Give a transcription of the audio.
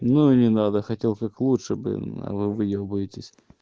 ну и не надо хотел как лучше блин а вы выебуетесь